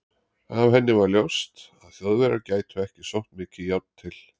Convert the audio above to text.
Af henni var ljóst, að Þjóðverjar gætu ekki sótt mikið járn til